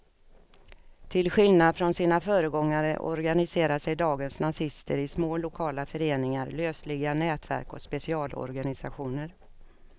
Till skillnad från sina föregångare organiserar sig dagens nazister i små lokala föreningar, lösliga nätverk och specialorganisationer.